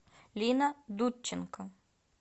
лина дудченко